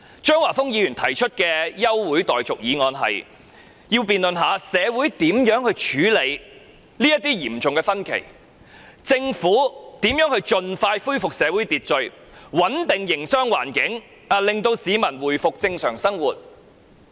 張華峰議員提出這項休會待續議案，要求本會辯論如何處理社會上的嚴重分歧、政府如何盡快恢復社會秩序、穩定營商環境，讓市民回復正常生活。